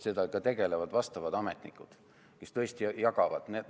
Sellega tegelevad vastavad ametnikud, kes tõesti asja jagavad.